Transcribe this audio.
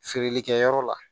Feereli kɛyɔrɔ la